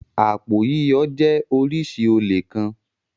Àpò yíyọ jẹ́ oríṣi olè kan.